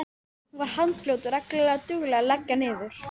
Hún var handfljót og reglulega dugleg að leggja niður.